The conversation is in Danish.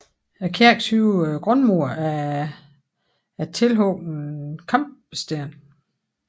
Kirkens høje grundmur er af tilhugne kampesten